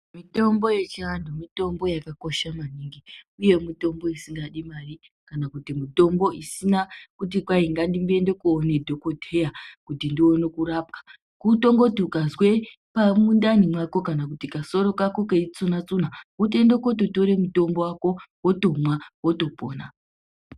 Mitombo yechiantu mitombo yakakosha maningi ,uye mitombo isingadi mari kana kuti mutombo usingadi kuti ngandimboenda kundoona dhokodheya kuti ndione kurapwa .Kutongoti ukazwe mundani mako kana kuti kasoro Kako keitsuna tsuna otoende kootore mutombo wako wotomwa wotopona.